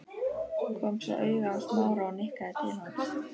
Kom svo auga á Smára og nikkaði til hans.